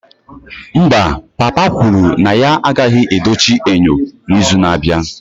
Mba, papa kwuru na ya agaghị edochi enyo n'izu na-abịa